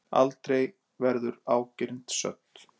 Aldrei verður ágirnd södd.